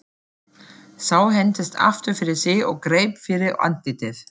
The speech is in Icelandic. Sá hentist aftur fyrir sig og greip fyrir andlitið.